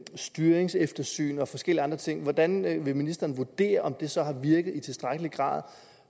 styringseftersyn og forskellige andre ting hvordan vil ministeren vurdere om de så har virket i tilstrækkelig grad